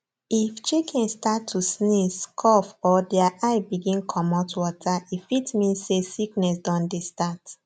if chicken start to sneeze cough or their eye begin comot water e fit mean say sickness don dey start